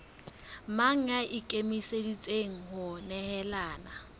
mang ya ikemiseditseng ho nehelana